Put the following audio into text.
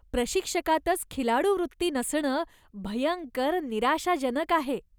प्रशिक्षकातच खिलाडूवृत्ती नसणं भयंकर निराशाजनक आहे.